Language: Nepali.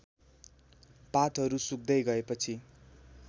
पातहरू सुक्दै गएपछि